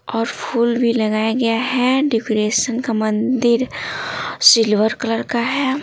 और फूल भी लगाया गया है डेकोरेशन का मंदिर सिल्वर कलर का है।